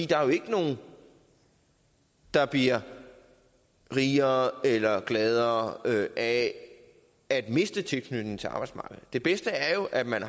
der er ikke nogen der bliver rigere eller gladere af at miste tilknytning til arbejdsmarkedet det bedste er jo at man